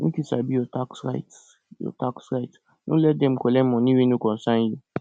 make you sabi your tax rights your tax rights no let dem collect money wey no concern you